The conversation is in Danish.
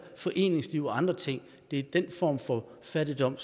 foreningsliv og andre ting det er den form for fattigdom